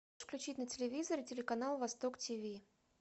включить на телевизоре телеканал восток тиви